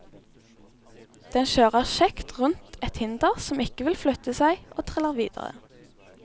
Den kjører kjekt rundt et hinder som ikke vil flytte seg og triller videre.